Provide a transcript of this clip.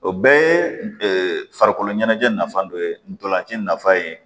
O bɛɛ ye farikolo ɲɛnajɛ nafa dɔ ye ntolanci nafa ye